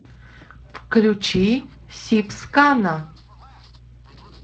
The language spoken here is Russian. включи сибскана